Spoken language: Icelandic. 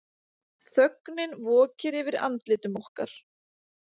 Þögnin vokir yfir andlitum okkar.